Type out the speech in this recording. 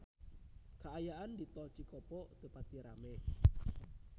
Kaayaan di Tol Cikopo teu pati rame